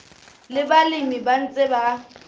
le balemi ba ntseng ba